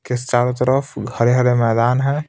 के चारों तरफ हरे-हरे मैदान है.